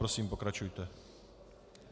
Prosím, pokračujte.